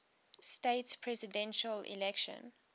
states presidential election